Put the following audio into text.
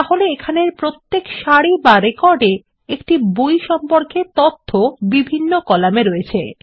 তাহলে এখানের প্রত্যেক সারি বা রেকর্ড এ একটি বই সম্পর্কে তথ্য বিভিন্ন কলামে রয়েছে